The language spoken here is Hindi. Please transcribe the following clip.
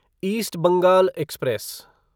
east Bengal express